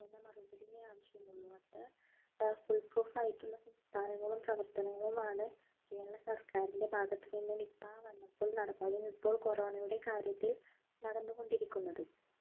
ഒതുങ്ങുന്ന മറുപടിയെ ആവശ്യം ഉള്ളൂ അത്ര full proof ആയിട്ടുള്ള സംസ്ഥാനങ്ങളും പ്രവർത്തനങ്ങളുമാണ് കേരള സർക്കാരിൻ്റെ ഭാഗത്ത് നിന്ന് nipah വന്നപ്പോൾ നടപ്പാക്കിയ ഇപ്പോൾ corona യുടെ കാര്യത്തിൽ നടന്നുകൊണ്ടിരിക്കുന്നതും